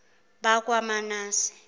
bakwamanase